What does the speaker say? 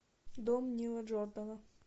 дом нила джордана